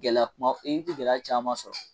Gɛlɛya kuma it bi gɛlɛya caman sɔrɔ